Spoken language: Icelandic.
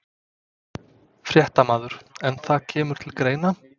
Fréttamaður: En það kemur til greina?